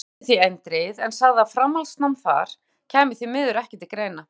Úlfar játti því eindregið, en sagði að framhaldsnám þar kæmi því miður ekki til greina.